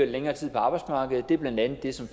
længere tid på arbejdsmarkedet det er blandt andet det som